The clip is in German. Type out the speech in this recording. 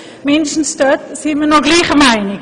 zumindest darin sind wir noch gleicher Meinung.